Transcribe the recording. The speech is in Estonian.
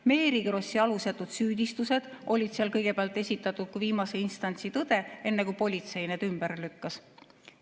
Mary Krossi alusetud süüdistused olid just seal kõigepealt esitatud kui viimase instantsi tõde, enne kui politsei need ümber lükkas.